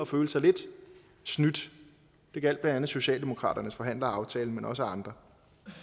følte sig lidt snydt det gjaldt blandt andet socialdemokratiets forhandler af aftalen men også andre